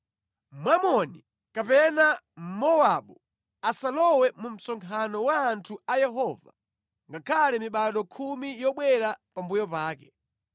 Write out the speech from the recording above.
Mwamoni kapena Mmowabu asalowe mu msonkhano wa anthu a Yehova ngakhale mibado khumi yobwera pambuyo pake.